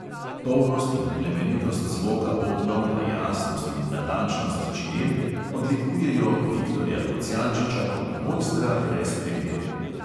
Polnost in plemenitost zvoka bobnov pa jasnost in natančnost činel odlikujejo viktorja kocjančiča kot mojstra brez primere.